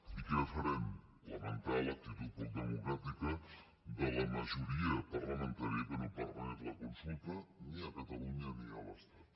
i què farem lamentar l’actitud poc democràtica de la majoria parlamentària que no permet la consulta ni a catalunya ni a l’estat